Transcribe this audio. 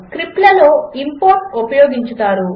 3 స్క్రిప్ట్లలో ఇంపోర్ట్ ఉపయోగించుతారు